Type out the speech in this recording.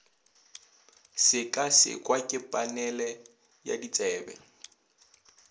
sekasekwa ke panele ya ditsebi